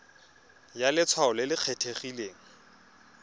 ya letshwao le le kgethegileng